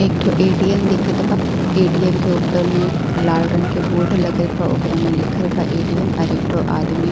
एकठो ए.टी.एम. दिखत बा ए.टी.एम. के ऊपर में लाल रंग के बोर्ड लगल बा ओकरा में लिखल बा ए.टी.एम. अर एक ठो आदमी --